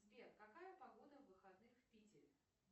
сбер какая погода в выходных в питере